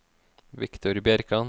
Viktor Bjerkan